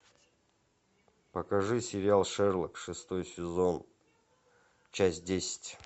покажи сериал шерлок шестой сезон часть десять